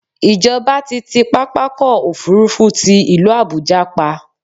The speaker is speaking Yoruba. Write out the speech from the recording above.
Ìjọba ti ti pápákọ̀-òfurufú ti ìlú Àbuja pa.